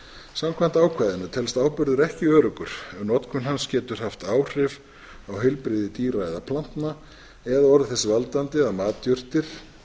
samkvæmt ákvæðinu telst áburður ekki öruggur ef notkun hans getur haft áhrif á heilbrigði dýra eða plantna eða orðið þess valdandi að matjurtir